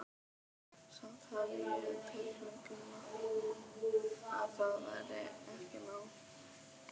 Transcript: Samt hafði ég á tilfinningunni að það væri ekki nóg.